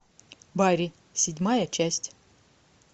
барри седьмая часть